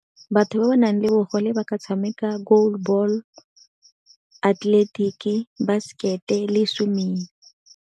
Batho ba ba nang le bogole ba ka tshameka ball, atleletiki, basekete le swimming.